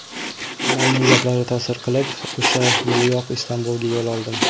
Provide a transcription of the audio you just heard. Onamning gaplari ta’sir qilib, o‘sha yiliyoq Istanbulga yo‘l oldim.